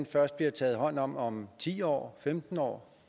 først bliver taget hånd om om ti år femten år